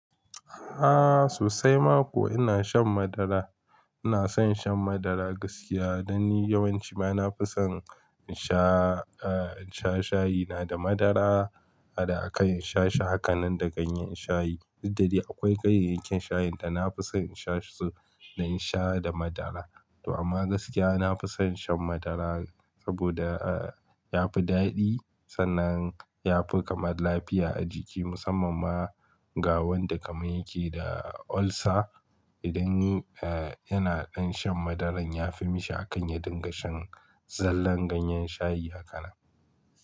Ahh sosai ma kuwa ina shan madara. Ina son shan madara gaskiya. Dan ni yawanci bana fi son in sha, in sha shayi na da madara. Da a kan in sha shi hakanan da ganyen shayi. Dak da dai akwai kayayya kin shayin dana fi son in sha su da in sha da madara. To amma gaskiya nafi son shan madara saboda yafi daɗi sannan yafi kamar lafiya a jiki musamman ma ga wanda kamar yake da ulcer. Idan yi yana ɗan shan madaran yafi mishi a kan ya dinga shan zallan ganyen shayi hakanan.